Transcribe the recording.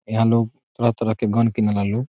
यहाँ लोग तरह-तरह के गन किनेला लोग।